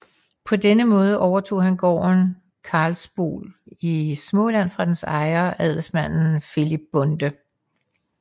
På denne måde overtog han gården Karlsbol i Småland fra dens ejer adelsmanden Filip Bonde